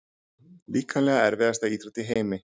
Líkamlega erfiðasta íþrótt í heimi?